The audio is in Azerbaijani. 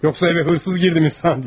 Yoxsa evə oğru girdi mi sandın?